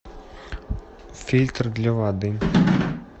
фильтр для воды